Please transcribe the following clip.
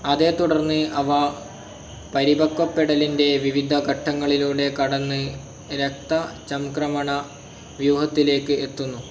അതേത്തുടർന്ന് അവ പരിപക്വപ്പെടലിന്റെ വിവിധ ഘട്ടങ്ങളിലൂടെ കടന്ന് രക്തചംക്രമണവ്യൂഹത്തിലേക്ക് എത്തുന്നു.